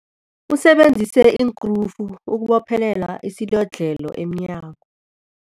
Usebenzise iinkrufu ukubophelela isilodlhelo emnyango.